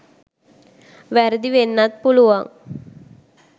වැරදි වෙන්නත් පුළුවන්